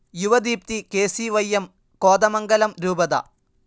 Yuvadeepthi KCYM. Kothamangalam രൂപത